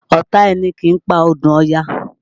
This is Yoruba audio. Ọ̀tá ẹni kì í pa odù Ọya